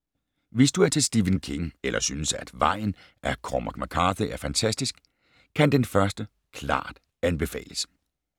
Hvis du er til Stephen King eller synes, at Vejen af Cormac McCarthy er fantastisk, kan Den første klart anbefales.